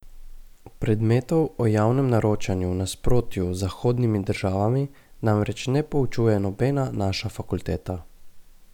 Predmetov o javnem naročanju v nasprotju z zahodnimi državami namreč ne poučuje nobena naša fakulteta.